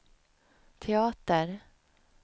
teater